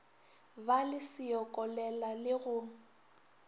ba le seokolela le go